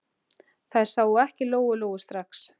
Þær sáu ekki Lóu-Lóu strax.